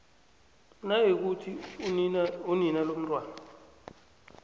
nayikuthi unina lomntwana